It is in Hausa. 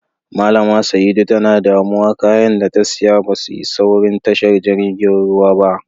Mallama Saidu tana damuwa, káayán da ta siya basu isa wurin tashar jirigin ruwan ba.